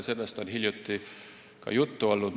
Sellest on hiljuti ka juttu olnud.